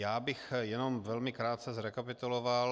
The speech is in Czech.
Já bych jenom velmi krátce zrekapituloval.